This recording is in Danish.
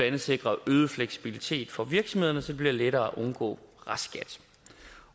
andet sikre øget fleksibilitet for virksomhederne så det bliver lettere at undgå restskat